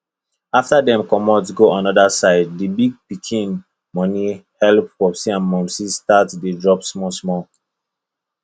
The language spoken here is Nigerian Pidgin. after dem comot go another side the big pikin money helep popsi and momsi start dey drop smallsmall